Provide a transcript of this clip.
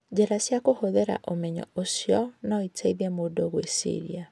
Njĩra cia kũhũthĩra ũmenyo ũcio no iteithie mũndũ kwĩciria.